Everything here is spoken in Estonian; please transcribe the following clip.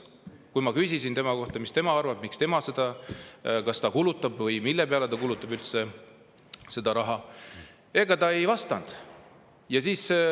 Kui ma küsisin temalt, mis tema arvab, miks ja kas või mille peale tema seda raha üldse kulutab, siis ega ta ei vastanud mulle.